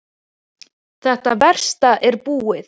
Þetta versta er búið.